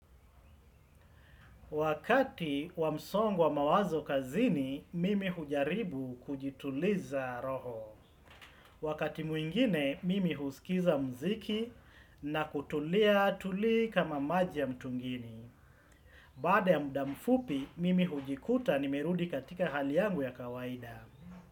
Wakati wa msongo wa mawazo kazini, mimi hujaribu kujituliza roho. Wakati mwingine, mimi husikiza mziki na kutulia tuli kama maji ya mtungini. Baada ya muda mfupi, mimi hujikuta nimerudi katika hali yangu ya kawaida.